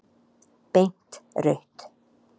Beint rautt.